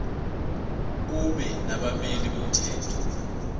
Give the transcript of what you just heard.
kube nabameli bomthetho